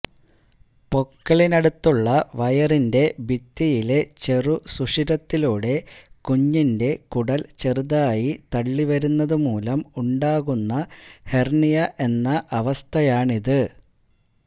പൊക്കിളിനിടുത്തുള്ള വയറിന്റെ ഭിത്തിയിലെ ചെറുസുഷിരത്തിലൂടെ കുഞ്ഞിന്റെ കുടല് ചെറുതായി തള്ളി വരുന്നതുമൂലം ഉണ്ടാകുന്ന ഹെര്ണിയ എന്ന അവസ്ഥയാണിത്